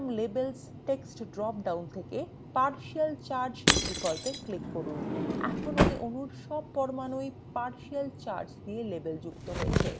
atom labels text drop down থেকে partial charge বিকল্পে click করুন এখন এই অণুর সব পরমাণুই partial charge দিয়ে লেবেলযুক্ত হয়েছে